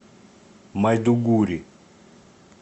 майдугури